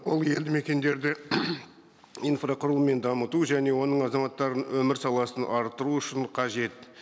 ол елді мекендерді инфрақұрылыммен дамыту және оның азаматтырының өмір саласын арттыру үшін қажет